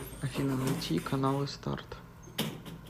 афина найти каналы старт